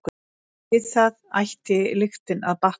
Við það ætti lyktin að batna.